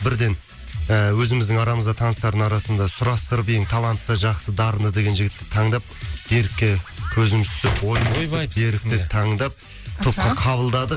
бірден ыыы өзіміздің арамызда таныстардың арасында сұрастырып ең талантты жақсы дарынды деген жігітті таңдап берікке көзіміз түсіп берікті таңдап топқа қабылдадық